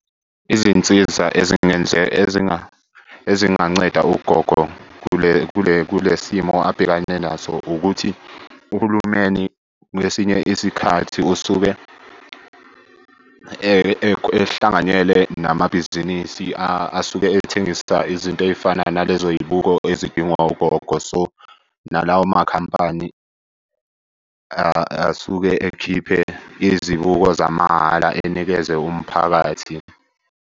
Izinsiza ezinganceda ugogo kule simo abhekane naso ukuthi uhulumeni kwesinye isikhathi usuke ehlanganyele namabhizinisi asuke ethengisa izinto ey'fana nalezo y'buko ezidingwa ugogo. So, nalawo makhampani asuke ekhiphe izibuko zamahhala enikeze umphakathi.